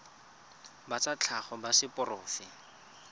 ba tsa tlhago ba seporofe